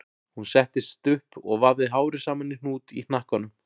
Hún settist upp og vafði hárið saman í hnút í hnakkanum